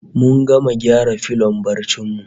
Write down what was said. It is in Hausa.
Mun gama gyara filon barcin mu